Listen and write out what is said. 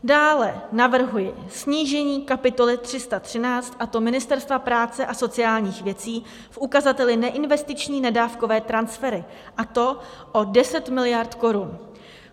Dále navrhuji snížení kapitoly 313, a to Ministerstva práce a sociálních věcí v ukazateli neinvestiční nedávkové transfery, a to o 10 miliard korun.